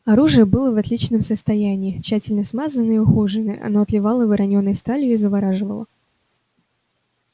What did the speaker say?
оружие было в отличном состоянии тщательно смазанное и ухоженное оно отливало воронёной сталью и завораживало